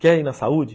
Quer ir na saúde?